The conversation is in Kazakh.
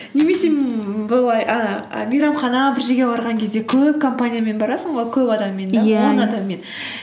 немесе ммм бұлай мейрамхана бір жерге барған кезде көп компаниямен барасың ғой көп адаммен он адаммен